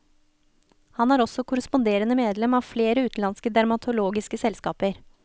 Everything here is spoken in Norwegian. Han er også korresponderende medlem av flere utenlandske dermatologiske selskaper.